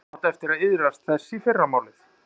Þú átt eftir að iðrast þess í fyrramálið.